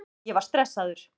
Ég var stressaður.